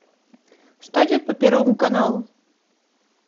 что идет по первому каналу